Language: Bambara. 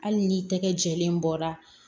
Hali ni tɛgɛ jɛlen bɔra